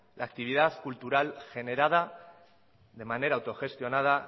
la actividad cultural generada de manera autogestionada